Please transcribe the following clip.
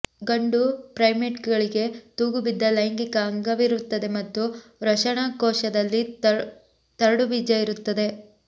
ಗಂಡು ಪ್ರೈಮೇಟ್ಗಳಿಗೆ ತೂಗುಬಿದ್ದ ಲೈಂಗಿಕ ಅಂಗವಿರುತ್ತದೆ ಮತ್ತು ವೃಷಣಕೋಶದಲ್ಲಿ ತರಡುಬೀಜ ಇರುತ್ತದೆ